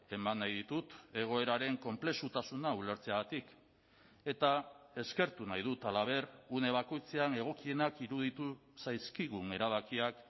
eman nahi ditut egoeraren konplexutasuna ulertzeagatik eta eskertu nahi dut halaber une bakoitzean egokienak iruditu zaizkigun erabakiak